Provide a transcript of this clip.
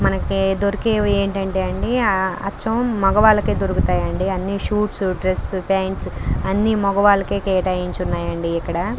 మనకి దొరికేవి ఏంటంటే అండి అచ్చం మగవాళ్ళకి దొరుకుతాయి అండి అన్ని షూస్ డ్రెస్ ప్యాంట్స్ అన్ని మగవాళ్ళకి కేటాయించి ఉన్నాయండి ఇక్కడ.